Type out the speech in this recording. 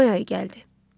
May ayı gəldi.